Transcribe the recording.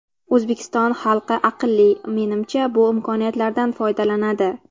O‘zbekiston xalqi aqlli, menimcha, bu imkoniyatlardan foydalanadi.